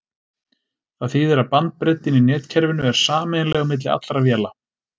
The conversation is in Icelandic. Það þýðir að bandbreiddin í netkerfinu er sameiginleg á milli allra véla.